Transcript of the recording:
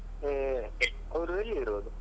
ಅವ್ರು ಎಲ್ಲಿ ಇರೋದು?